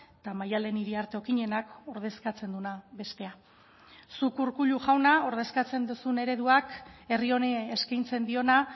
eta maddalen iriarte okiñenak ordezkatzen duena bestea zuk urkullu jauna ordezkatzen duzun ereduak herri honi eskaintzen diona